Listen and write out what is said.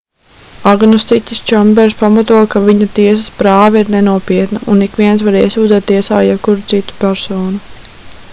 agnostiķis čambers pamato ka viņa tiesas prāva ir nenopietna un ikviens var iesūdzēt tiesā jebkuru citu personu